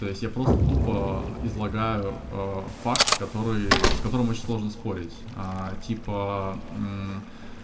то есть я просто тупо излагаю факт который с которым очень сложно спорить типа